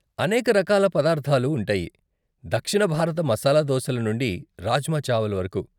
అనేక రకాల పదార్ధాలు ఉంటాయి, దక్షిణ భారత మసాలా దోశల నుండి రాజ్మా చావల్ వరకు.